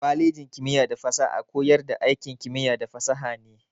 Kwalejin kimiyya da fasaha a koyar da aikin kimiyya da fasaha ne.